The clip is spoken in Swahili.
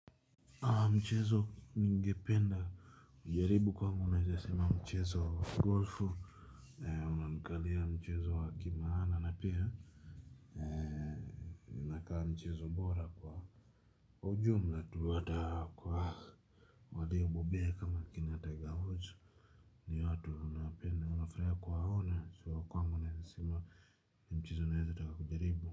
Mchezo ningependa kujaribu kwangu naweza sema mchezo wa golfu. Unamkalia mchezo wa kimaana na pia. Inakaa mchezo bora kwa ujumla tu ata kwa waliobobea kama kina taiga hochu. Ni watu tunawapenda na tunafurahia kuwaona so kwangu naweza sema ni mchezo naweza taka kujaribu.